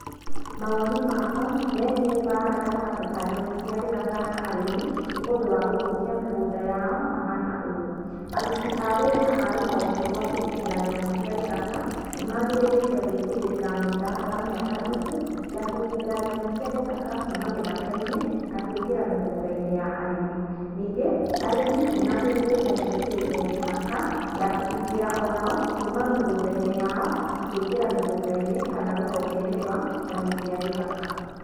Mawoni makwa megiĩ mbara gatagatĩ ka nyamũ cia gĩthaka na arĩmi nĩ ũndũ wa gũthũkia mĩgũnda yao mahana ũũ: aruti a wira a rũhonge rwa kũgitĩra nyamũ cia gĩthaka nĩmagĩrĩire gwĩkĩrĩra mĩtaratara mĩandandũku ya kũgitĩra nyamũ cia gĩthaka kuuma gĩthakainĩ na kũingĩra mĩgũndainĩ ya arĩmi. Ningĩ, arĩmi nĩ magĩrĩrĩire gwĩkĩrĩrwo mĩhaka ya kũgitĩra onao kuuma mĩgũnda-inĩ yayo na kũingĩra mĩgũnda-inĩ kana rũhonge-inĩ rwa nyamũ cia gĩthaka.